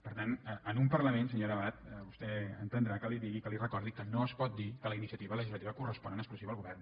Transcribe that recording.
per tant en un parlament senyora abad vostè entendrà que li digui que li recordi que no es pot dir que la iniciativa legislativa correspon en exclusiva al govern